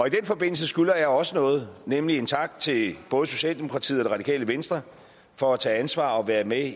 i den forbindelse skylder jeg også noget nemlig en tak til både socialdemokratiet og det radikale venstre for at tage ansvar og være med